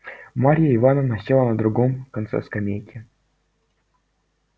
марья ивановна села на другом конце скамейки